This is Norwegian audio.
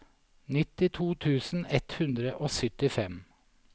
nittito tusen ett hundre og syttifem